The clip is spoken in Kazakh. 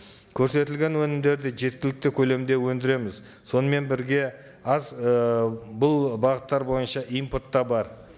көрсетілген өнімдерді жеткілікті көлемде өндіреміз сонымен бірге аз ыыы бұл бағыттар бойынша импорт та бар